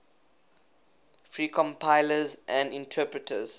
free compilers and interpreters